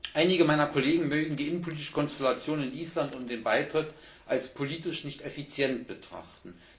Einige meiner Kollegen mögen die innenpolitische Konstellation in Island und den Beitritt als politisch nicht effizient betrachten.